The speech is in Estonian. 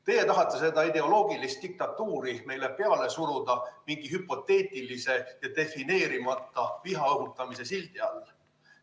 Teie tahate seda ideoloogilist diktatuuri meile peale suruda mingi hüpoteetilise ja defineerimata vihaõhutamise sildi all.